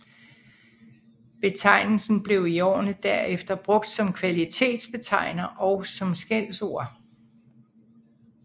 Betegnelsen blev i årene derefter brugt som kvalitetsbetegnelser og som skældsord